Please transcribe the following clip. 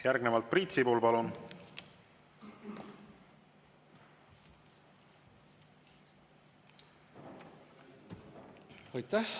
Järgnevalt Priit Sibul, palun!